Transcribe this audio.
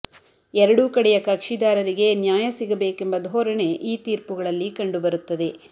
ಎರಡೂ ಕಡೆಯ ಕಕ್ಷಿದಾರರಿಗೆ ನ್ಯಾಯ ಸಿಗಬೇಕೆಂಬ ಧೋರಣೆ ಈ ತೀರ್ಪುಗಳಲ್ಲಿ ಕಂಡು ಬರುತ್ತದೆ